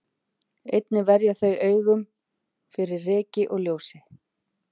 einnig verja þau augun fyrir ryki og ljósi